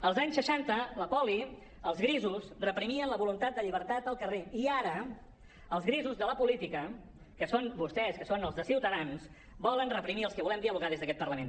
als anys seixanta la poli els grisos reprimien la voluntat de llibertat al carrer i ara els grisos de la política que són vostès que són els de ciutadans volen reprimir els que volem dialogar des d’aquest parlament